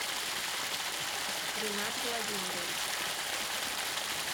ринат владимирович